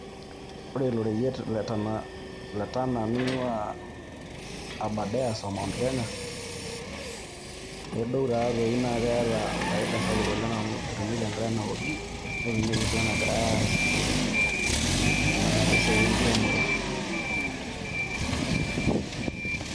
Ore ilo reyiet le Tana neing'ua abarders o Mount Kenya, nedou taatoi naa keeta efaida sapuk amu etumieki Enk'are naoki netumieki sii enagirai aasie tenakata ena siai engiremore.